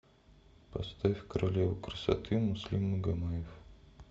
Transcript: поставь королева красоты муслим магомаев